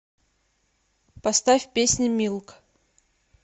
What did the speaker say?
поставь песня милк